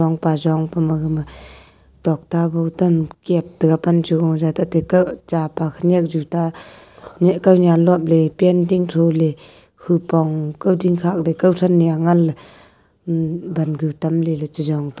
thongpa jong pa ma gama tokta gotam kap tega pan che gow jaw te tapa khenek juta kawnen lop pant ding thow ley kupong kawding khak ley kawthan a hangan ley vangu tam ley che jong--